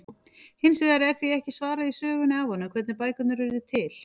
Hins vegar er því ekki svarað í sögunni af honum, hvernig bækurnar urðu til!?